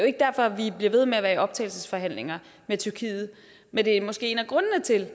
ikke derfor vi bliver ved med at være i optagelsesforhandlinger med tyrkiet men det er måske en af grundene til